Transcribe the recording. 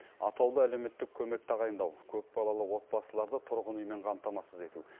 атаулы әлеуметтік көмек тағайындау көпбалалы отбасыларды тұрғын үймен қамтамасыз ету